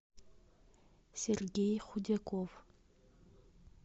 сергей худяков